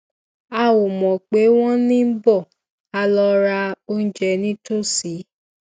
a ò mọ pé wón ń bọ a lọ ra oúnjẹ nítòsí